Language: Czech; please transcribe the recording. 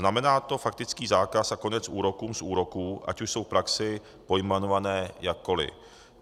Znamená to faktický zákaz a konec úrokům z úroků, ať už jsou v praxi pojmenované jakkoli.